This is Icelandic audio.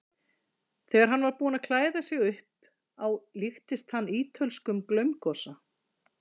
Þegar hann var búinn að klæða sig upp á líktist hann ítölskum glaumgosa.